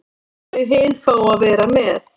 Þau hin fá að vera með.